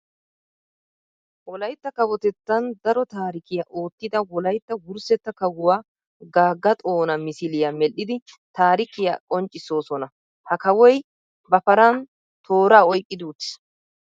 Wolaytta kawotettan daro taarikkiya oottida wolaytta wurssetta kawuwa Gaga Xoona misiliya medhdhidi taarikkiya qonccissosonna. Ha kawoy ba paran toora oyqqidi uttis.